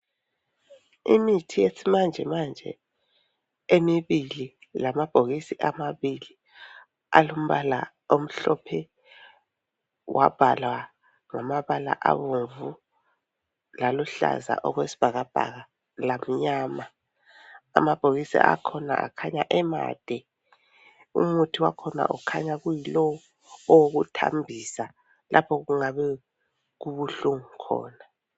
Imithi yesimanjemanje emibili lamabhokisi amabili alombala omhlophe wabhalwa ngamabala abomvu laluhlaza okwesibhakabhaka lamnyama. Amabhokisi akhona akhanya emade. Umuthi wakhona ukhanya kuyilo owokuthambisa lapho okungabe kubuhlungu khona.